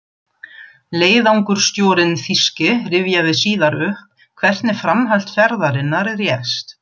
Leiðangursstjórinn þýski rifjaði síðar upp, hvernig framhald ferðarinnar réðst.